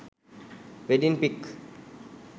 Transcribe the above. wedding pic